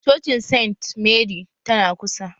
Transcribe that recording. Cocin saint mary tana kusa